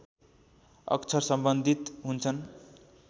अक्षर सम्बन्धित हुन्छन्